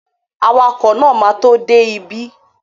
Awakọ̀ náà ma tó dé bí